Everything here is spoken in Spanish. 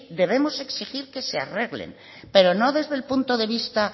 debemos exigir que se arreglen pero no desde el punto de vista